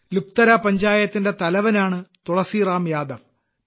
ലുക്ത്തര ഗ്രാമപഞ്ചായത്തിന്റെ തലവനാണ് തുളസിറാം യാദവ്